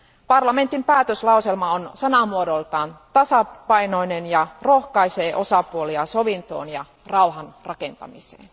Parlamentin päätöslauselma on sanamuodoltaan tasapainoinen ja rohkaisee osapuolia sovintoon ja rauhan rakentamiseen.